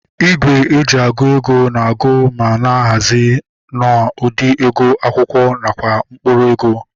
Igwe eji agụ ego na agu ma na-ahazi na ụdị ego akwụkwọ nakwa mkpụrụ ego